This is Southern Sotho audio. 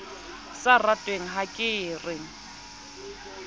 sa ratweng ha ke re